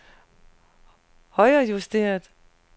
højrejusteret